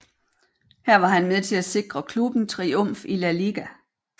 Her var han med til at sikre klubben triumf i La Liga